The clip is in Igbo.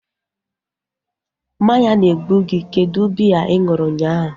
Mmanya na-egbu gị. Kedụ biya ị ṅụrụ unyaahu?